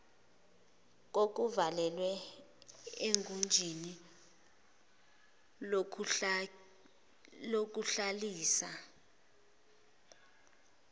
kokuvalelwa egunjini lokuhlalisa